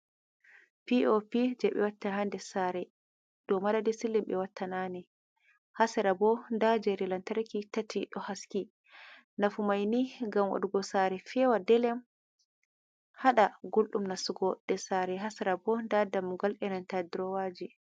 Piopi je be watta ha ɗer sare. Ɗow madadi silim be watta nane. ha sera bo ɗa jeri lantarki tati ɗo haski. Nafumaini gam waɗugo sare fewa ɗelem. Haɗa gulɗum nastugo ɗer sare. Ha sera bo nɗa ɗammugal irinta ɗurowaji.